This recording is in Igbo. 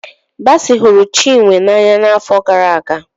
Basi hụrụ Chinwe n'anya n'afọ gara aga.